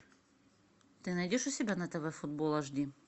ты найдешь у себя на тв футбол аш ди